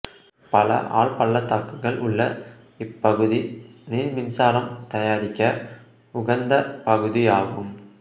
பல ஆழ்பள்ளத்தாக்குகள் உள்ள இப்பகுதி நீர்மின்சாரம் தயாரிக்க உகந்த பகுதியாகும்